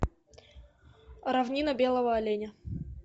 равнина белого оленя